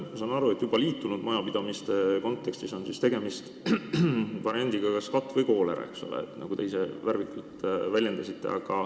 Ma saan aru, et juba liitunud majapidamiste kontekstis on tegemist variandiga "kas katk või koolera", nagu te ise värvikalt väljendasite.